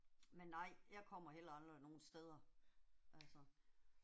Men nej, jeg kommer heller aldrig nogen steder. Altså